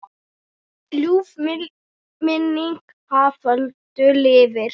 Ljúf minning Haföldu lifir.